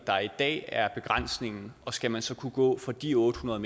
der i dag er begrænsningen og skal man så kunne gå fra de otte hundrede